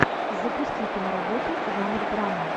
запусти киноработу жанр драма